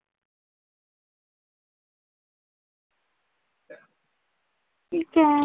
ठीक आहे.